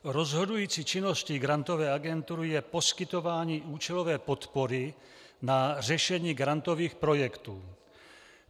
Rozhodující činností Grantové agentury je poskytování účelové podpory na řešení grantových projektů.